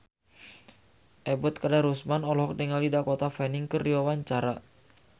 Ebet Kadarusman olohok ningali Dakota Fanning keur diwawancara